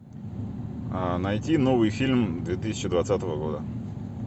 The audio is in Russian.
найти новый фильм две тысячи двадцатого года